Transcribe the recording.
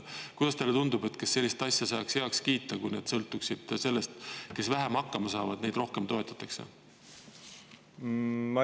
Kuidas teile tundub, kas sellist asja saaks heaks kiita, kui need sõltuksid sellest, et kes vähem hakkama saavad, neid ka toetatakse rohkem?